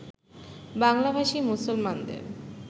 বাংলাভাষী মুসলমানদের